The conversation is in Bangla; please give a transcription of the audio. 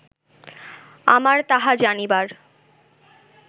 আমার তাহা জানিবার